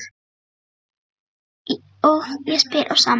Og ég spyr á sama hátt